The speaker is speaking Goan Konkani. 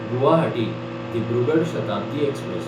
गुवाहाटी–दिब्रुगड शताब्दी एक्सप्रॅस